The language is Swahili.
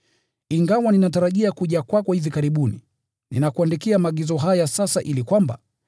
Ingawa ninatarajia kuja kwako hivi karibuni, ninakuandikia maagizo haya sasa ili kwamba,